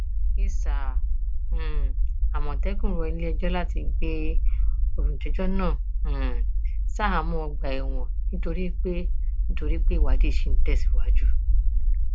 isà um àmọtẹkùn rọ iléẹjọ láti gbé olùjẹjọ náà um ṣaháàmọ ọgbà ẹwọn nítorí pé nítorí pé ìwádìí ṣì ń tẹsíwájú